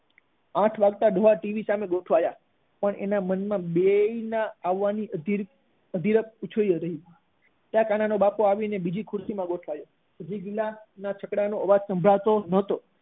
આઠ વાગ્યે ડોહા ટીવી સામે ગોઠવાયા પણ એના મન માં બેય આવવાની અધિરાય ઉછળી રહી હતી ત્યાં કાના નો બાપો આવી બીજી ખુરશી માં ગોઠવાયો હજી ગિલા ના છકડા નો અવાજ ટીવી માં સંભળાતો ન હતો